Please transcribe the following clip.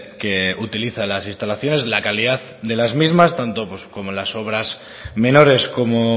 que utiliza las instalaciones la calidad de las mismas tanto como las obras menores como